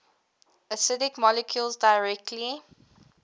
acidic molecules directly